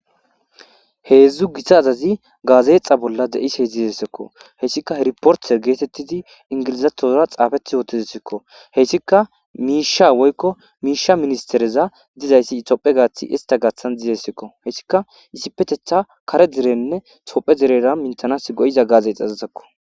Heedzdzu gita azazi gaazexa bolla de'ishe dzizesekko heyssika he riporter geetettidi ingilizatora xaafeti yootezsikko heyssika miisha woykko miisha ministereza dizayssi itophe gaathi ista gaathan dizessekko heyssika isipetetha kare direnne tophe direra mintanas go'iza gaazeexa azazekko.